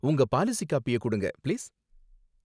உங்க பாலிசி காப்பிய குடுங்க, பிளீஸ்.